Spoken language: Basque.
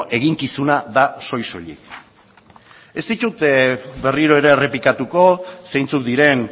eginkizuna da soil soilik ez ditut berriro ere errepikatuko zeintzuk diren